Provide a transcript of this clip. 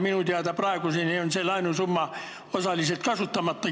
Minu teada on osa sellest laenusummast kasutamata.